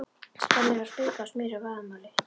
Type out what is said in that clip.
Skemmur eru að springa af smjöri og vaðmáli!